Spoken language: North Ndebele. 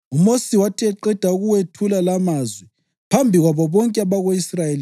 UMosi wathi eqeda ukuwethula lamazwi phambi kwabo bonke abako-Israyeli,